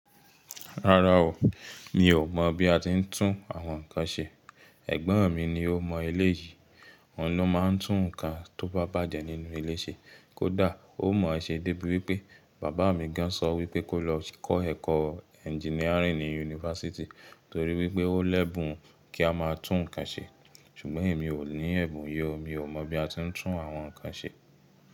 Rárá o, mi ò mọ̀ bí a ti ń tún àwọn nǹkan ṣe. Ẹ̀gbọ́n mi ni ó mọ eleyìí, òun ló máa ń tún nǹkan tó bá bàjẹ́ nínú ilé ṣe. Kódà ó mọ̀ ẹ̀ ṣe débi wípé bàbá mi gan sọ wípé kó lọ kọ́ ẹ̀kọ́ engineering ní yunifásítì torí wípé ó lè ebùn kí a máa tún nǹkan ṣe, ṣùgbọ́n èmi ò ní ẹ̀bùn ye o, mi ò mọ̀ bí a ti ń tún àwọn nǹkan ṣe.